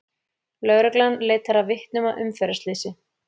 Lögreglan leitar að vitnum að umferðarslysi